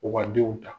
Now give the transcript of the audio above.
U ka denw ta